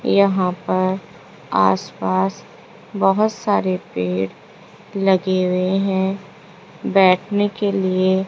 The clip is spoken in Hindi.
यहां पर आसपास बहुत सारे पेड़ लगे हुए हैं बैठने के लिए --